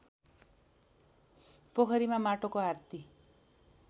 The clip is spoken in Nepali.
पोखरीमा माटोको हात्ती